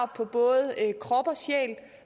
på både krop og sjæl